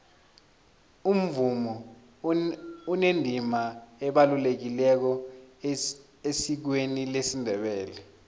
umvumo unendima ebalulekileko esikweni lesindebele